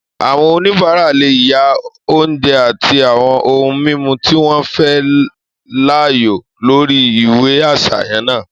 Àwọn oníbàárà lè yàn oúnjẹ àti àwọn ohun mímu tí wọ́n fẹ́ láàyò lórí ìwé àsàyàn náà